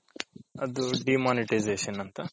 ಹ ಹೌದು ನಾಗೇಶ್ ಅವ್ರೆ.